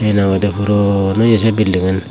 hena hoi dey poron oye sey bilding aan.